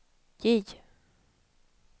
J